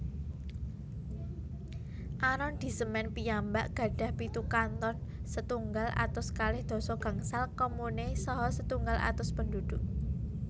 Arondisemen piyambak gadhah pitu kanton setunggal atus kalih doso gangsal komune saha setunggal atus penduduk